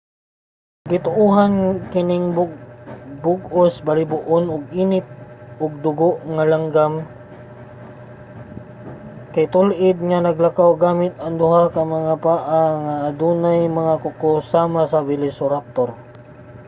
gituohan nga kining bug-os balhiboon ug init og dugo nga langgam nga mandadagit kay tul-id nga naglakaw gamit ang duha ka mga paa nga adunay mga kuko sama sa velociraptor